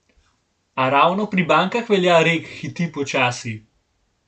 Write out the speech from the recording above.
A ravno pri bankah velja rek hiti počasi.